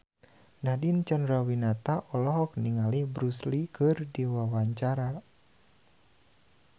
Nadine Chandrawinata olohok ningali Bruce Lee keur diwawancara